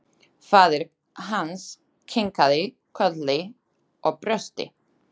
Faðir hans kinkaði kolli og brosti.